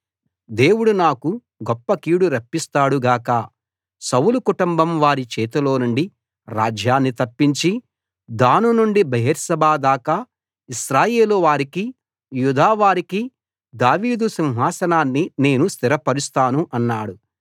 దేవుడు నాకు గొప్ప కీడు రప్పిస్తాడు గాక సౌలు కుటుంబం వారి చేతిలోనుండి రాజ్యాన్ని తప్పించి దాను నుండి బెయేర్షెబా దాకా ఇశ్రాయేలు వారికి యూదా వారికి దావీదు సింహాసనాన్ని నేను స్థిరపరుస్తాను అన్నాడు